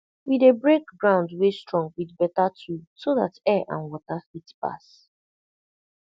we dey break ground wey strong with beta tool so dat air and water fit pass